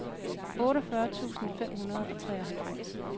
otteogfyrre tusind fem hundrede og treoghalvfems